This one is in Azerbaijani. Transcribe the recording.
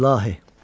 İlahi.